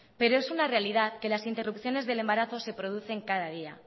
pero es una realidad que las interrupciones del embarazo se producen cada día